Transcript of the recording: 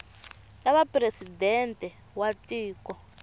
ta va presidente wa tiko